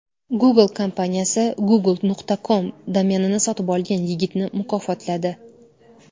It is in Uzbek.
Google kompaniyasi Google.com domenini sotib olgan yigitni mukofotladi.